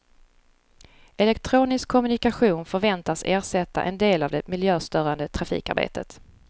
Elektronisk kommunikation förväntas ersätta en del av det miljöstörande trafikarbetet.